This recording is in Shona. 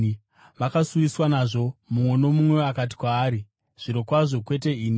Vakasuwiswa nazvo, mumwe nomumwe akati kwaari, “Zvirokwazvo, kwete ini?”